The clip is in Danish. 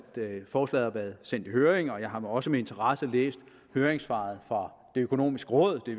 forslaget har været sendt i høring og jeg har også med interesse læst høringssvaret fra det økonomiske råd det